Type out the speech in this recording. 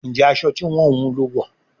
Njé aṣọ tí wón wun ló wọ?